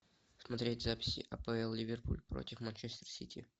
смотреть запись апл ливерпуль против манчестер сити